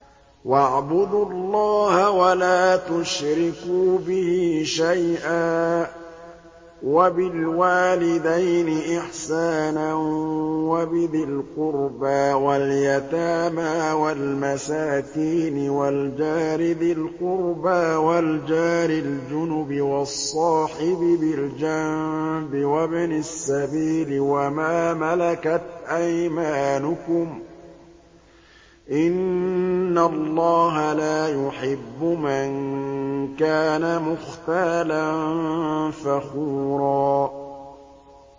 ۞ وَاعْبُدُوا اللَّهَ وَلَا تُشْرِكُوا بِهِ شَيْئًا ۖ وَبِالْوَالِدَيْنِ إِحْسَانًا وَبِذِي الْقُرْبَىٰ وَالْيَتَامَىٰ وَالْمَسَاكِينِ وَالْجَارِ ذِي الْقُرْبَىٰ وَالْجَارِ الْجُنُبِ وَالصَّاحِبِ بِالْجَنبِ وَابْنِ السَّبِيلِ وَمَا مَلَكَتْ أَيْمَانُكُمْ ۗ إِنَّ اللَّهَ لَا يُحِبُّ مَن كَانَ مُخْتَالًا فَخُورًا